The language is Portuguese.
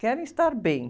Querem estar bem.